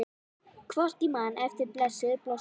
Hvort ég man eftir blessuðum blossanum?